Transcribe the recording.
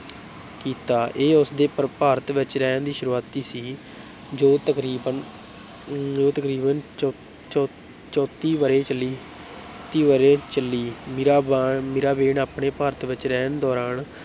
ਕੀਤਾ, ਇਹ ਉਸ ਦੇ ਭ ਭਾਰਤ ਵਿੱਚ ਰਹਿਣ ਦੀ ਸ਼ੁਰੂਆਤ ਸੀ ਜੋ ਤਕਰੀਬਨ ਜੋ ਤਕਰੀਬਨ ਚੌਂ ਚੌਂ ਚੌਂਤੀ ਵਰ੍ਹੇ ਚੱਲੀ, ਤੀ ਵਰ੍ਹੇ ਚੱਲੀ, ਮੀਰਾਬਾਂ ਮੀਰਾਬੇਨ ਆਪਣੇ ਭਾਰਤ ਵਿੱਚ ਰਹਿਣ ਦੌਰਾਨ